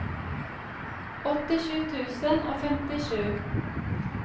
åttisju tusen og femtisju